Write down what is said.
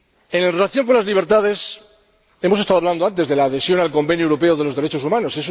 En relación con las libertades, hemos estado hablando antes de la adhesión al Convenio Europeo de Derechos Humanos.